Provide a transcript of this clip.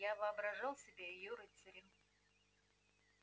я воображал себя её рыцарем